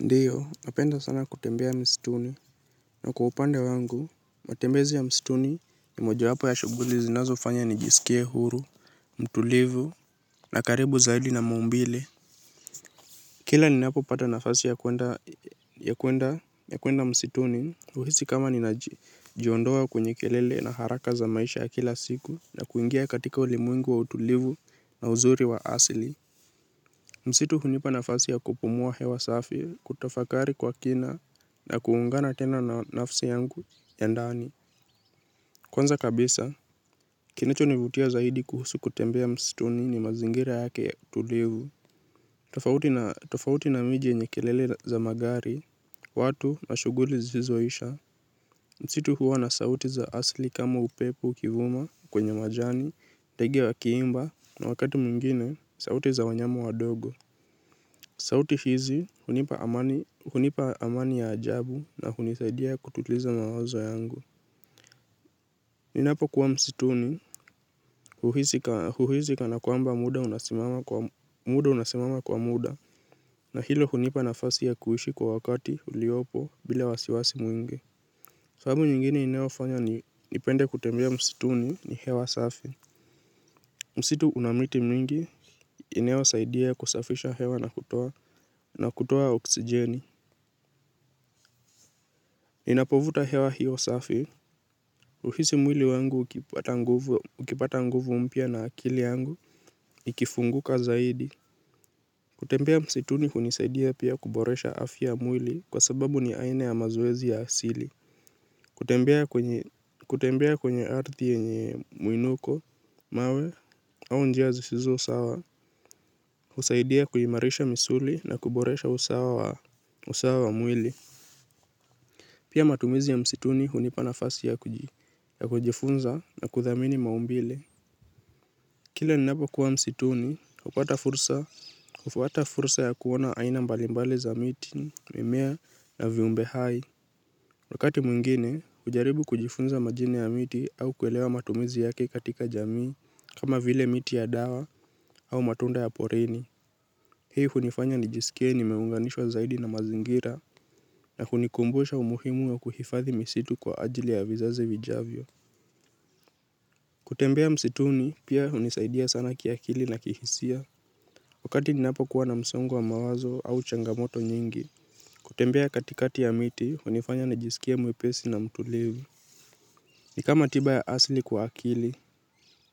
Ndiyo, napenda sana kutembea msituni, na kwa upande wangu, matembezi ya msituni ni mojawapo ya shughuli zinazofanya nijiskie huru, mtulivu, na karibu zaidi na maumbile. Kila ninapopata nafasi ya kuenda msituni, huhisi kama ninajiondoa kwenye kelele na haraka za maisha ya kila siku, na kuingia katika ulimwengu wa utulivu na uzuri wa asili. Msitu hunipa nafasi ya kupumua hewa safi, kutafakari kwa kina na kuungana tena na nafsi yangu ya ndani. Kwanza kabisa, kinachonivutia zaidi kuhusu kutembea msituni ni mazingira yake tulivu. Tofauti na miji yenye kelele za magari, watu mashuguli zisizoisha. Msitu huwa na sauti za asili kama upepo ukivuma kwenye majani, ndege wakiimba na wakati mwingine sauti za wanyama wadogo. Sauti hizi, hunipa amani ya ajabu na hunisaidia kutuliza mawazo yangu. Ninapokuwa msituni, huhisi kanakwamba muda unasimama kwa muda, na hilo hunipa nafasi ya kuishi kwa wakati uliopo bila wasiwasi mwing. Fahamu nyingine inayofanya nipende kutembea msituni ni hewa safi. Msitu una miti mingi, inayosaidia kusafisha hewa na kutoa, na kutoa oksijeni. Ninapovuta hewa hiyo safi, huhisi mwili wangu ukipata nguvu mpya na akili yangu, ikifunguka zaidi. Kutembea msituni hunisaidia pia kuboresha afya ya mwili kwa sababu ni aina ya mazoezi ya asili. Kutembea kwenye ardhi yenye muinuko, mawe, au njia zisizo sawa, husaidia kuimarisha misuli na kuboresha usawa wa mwili. Pia matumizi ya msituni hunipa nafasi ya kujifunza na kuthamini maumbile. Kile ninapokuwa msituni, hufuata fursa ya kuona aina mbalimbali za miti, mimea na viumbe hai. Wakati mwingine, hujaribu kujifunza majini ya miti au kuelewa matumizi yake katika jamii, kama vile miti ya dawa au matunda ya porini. Hii hunifanya nijiskie nimeunganishwa zaidi na mazingira na hunikumbusha umuhimu ya kuhifadhi misitu kwa ajili ya vizazi vijavyo. Kutembea msituni, pia hunisaidia sana kiakili na kihisia. Wakati ninapokuwa na msongo wa mawazo au changamoto nyingi, kutembea katikati ya miti, hunifanya nijiskie mwepesi na mtulivu. Ni kama tiba ya asili kwa akili,